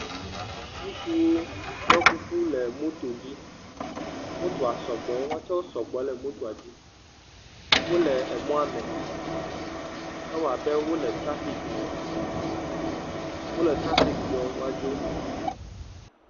Ŋutsuwo ɖɔ kuku le motodzi. motoa sgbɔ, woawo tsɛ sɔgbɔ le mota dzi. Wole emɔa me, ewɔ abe wole tafikime. Wole trafiki dzɔɔ woadzo.